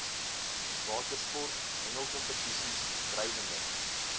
watersport hengelkompetisies drywende